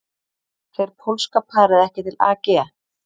Fer pólska parið ekki til AG